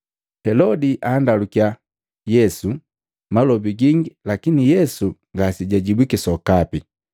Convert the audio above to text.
Helodi andalukiya Yesu malobi gingi lakini Yesu ngasejajibwiki sokapi.